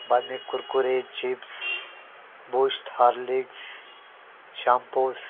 बाद में Kurkure chips Boost Horlicks shampoos --